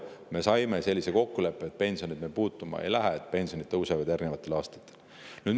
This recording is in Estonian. Me saime sellise kokkuleppe, et me pensione puutuma ei lähe, vaid pensionid järgnevatel aastatel tõusevad.